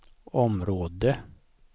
område